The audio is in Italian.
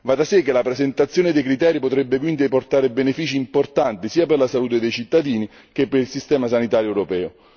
Va da sé che la presentazione dei criteri potrebbe quindi portare benefici importanti sia per la salute dei cittadini che per il sistema sanitario europeo.